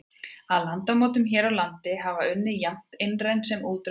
Að landmótun hér á landi hafa unnið jafnt innræn sem útræn öfl.